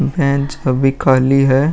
Bench अभी खाली है।